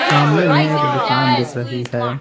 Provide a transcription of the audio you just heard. सामने में एक दुकान दिख रही है।